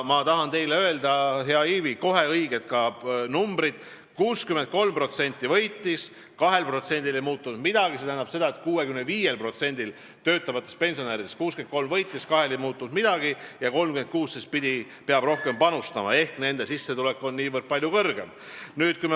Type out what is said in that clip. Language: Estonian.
Ma tahan teile öelda, hea Ivi, kohe ka õiged numbrid: 63% võitis, 2%-l ei muutunud midagi, s.o 65% töötavatest pensionäridest, ja 36% peab rohkem panustama, sest nende sissetulek on niivõrd palju kõrgem.